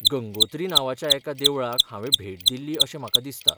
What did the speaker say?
गंगोत्री नांवाच्या एका देवळाक हांवें भेट दिल्ली अशें म्हाका दिसता.